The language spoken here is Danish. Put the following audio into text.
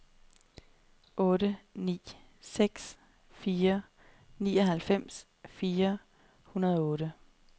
otte ni seks fire nioghalvfems fire hundrede og otte